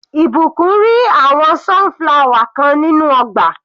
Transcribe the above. Ìbùkún ri àwọn sunflower kan nínú ọgbà.